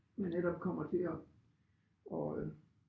Øh netop kommer til at at øh